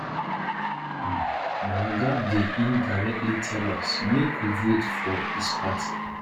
um my oga dey indirectly tell us make we vote for his party